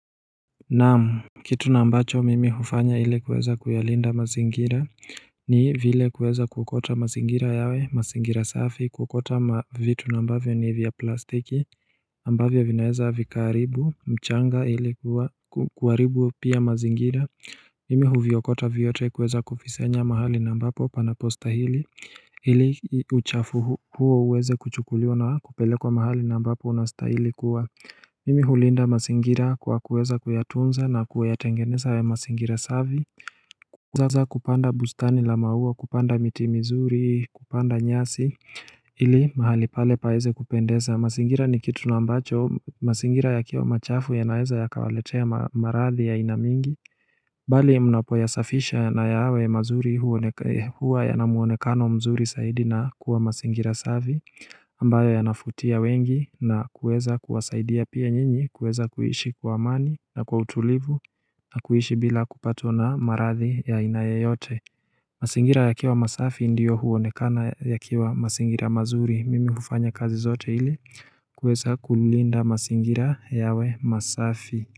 Na'am kitu nambacho mimi hufanya ili kuweza kuyalinda mazingira ni vile kuweza kuokota mazingira yawe mazingira safi, kuokota mavitu nambavyo ni vya plastiki ambavyo vinaweza vikaharibu mchanga ile, kuharibu pia mazingira Mimi huviokota vyote kuweza kuvisanya mahali nambapo panapostahili ili uchafu huo uweze kuchukuliwa na kupelekwa mahali nambapo unastahili kuwa Mimi hulinda mazingira kwa kuweza kuyatunza na kuyatengeneza ya mazingira safi Kwa kuweza kupanda bustani la maua, kupanda miti mizuri, kupanda nyasi ili mahali pale paweze kupendeza masingira ni kitu naambacho, masingira ya kiwa machafu ya naeza ya kawaletea maradhi ya ainamingi Bali mnapoyasafisha na yawe mazuri huwa yanamuonekano mzuri saidi na kuwa masingira savi ambayo ya nafutia wengi na kueza kuwasaidia pia nyinyi kueza kuhishi kuamani na kwa utulivu na kuhishi bila kupatwa na maradhi ya aina yeyote masingira yakiwa masafi ndiyo huonekana yakiwa masingira mazuri mimi hufanya kazi zote ili kuweza kulinda masingira yawe masafi.